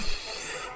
Puf!